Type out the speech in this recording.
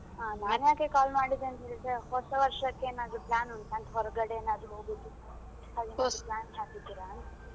ಹಾ ನಾನ್ಯಾಕೆ call ಮಾಡಿದ್ದು ಅಂತ ಹೇಳಿದ್ರೆ ಹೊಸ ವರ್ಷಕ್ಕೆ ಏನಾದ್ರು plan ಉಂಟಾ ಹೊರ್ಗಡೆ ಏನಾದ್ರು ಹೋಗುದು ಹಾಗೇನಾದ್ರೂ plan ಹಾಕಿದ್ದೀರಾ ಅಂತ.